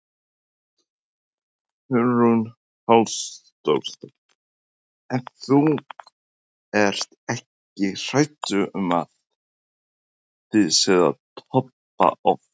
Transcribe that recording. Hugrún Halldórsdóttir: En þú ert ekkert hræddur um að þið séuð að toppa of fljótt?